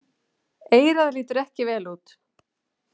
Eyrað lítur ekki vel út.